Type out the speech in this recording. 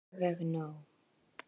Alveg nóg.